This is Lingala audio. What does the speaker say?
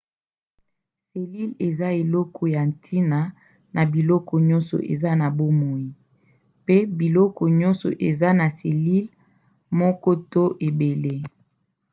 selile eza eloko ya ntina na biloko nyonso eza na bomoi pe biloko nioso eza na selile moko to ebele